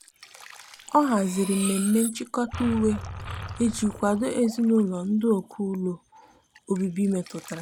ọ hazịrị mmeme nchikota uwe iji kwado ezinulo ndi ọkụ ụlọ ọbibi metụtara.